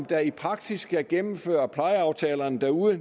der i praksis skal gennemføre plejeaftalerne derude